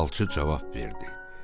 Falçı cavab verdi: